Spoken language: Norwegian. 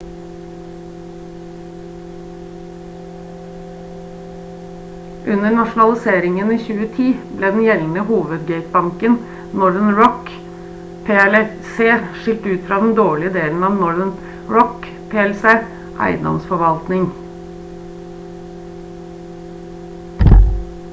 under nasjonaliseringen i 2010 ble den gjeldende hovedgatebanken northern rock plc skilt ut fra den «dårlige» delen av northern rock plc eiendomsforvaltning